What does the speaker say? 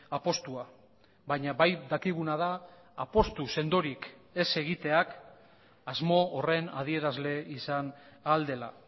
apustua baina bai dakiguna da apustu sendorik ez egiteak asmo horren adierazle izan ahal dela